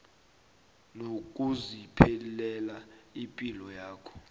nokuziphilela ipilo yakho